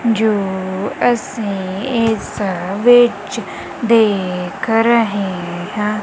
ਜੋ ਅਸੀਂ ਇਸ ਵਿੱਚ ਦੇਖ ਰਹੇ ਹਾਂ।